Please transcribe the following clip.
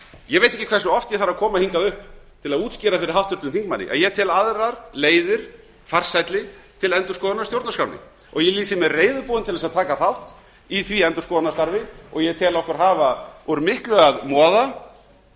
ég veit ekki hversu oft ég þarf að koma hingað upp til að útskýra fyrir háttvirtum þingmanni að ég tel aðrar leiðir farsælli til endurskoðunar á stjórnarskránni og ég lýsi mig reiðubúinn til þess að taka þátt í því endurskoðunarstarfi og ég tel okkur hafa úr miklu að moða